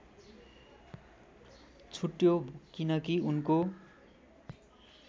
छुट्यो किनकी उनको